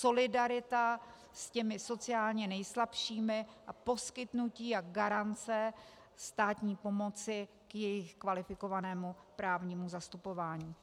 Solidarita s těmi sociálně nejslabšími a poskytnutí a garance státní pomoci k jejich kvalifikovanému právnímu zastupování.